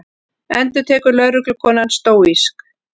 endurtekur lögreglukonan stóísk.